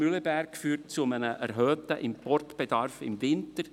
Mühleberg führt zu einem erhöhten Importbedarf im Winter.